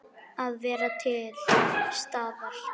Að vera til staðar.